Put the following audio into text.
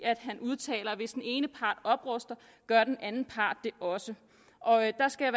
han udtaler at hvis den ene part opruster gør den anden part det også og jeg skal